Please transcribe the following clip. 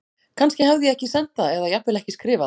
Kannski hafði ég ekki sent það eða jafnvel ekki skrifað það.